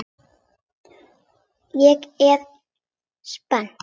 Ég er spennt.